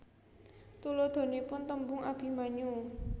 Tuladhanipun tembung Abimanyu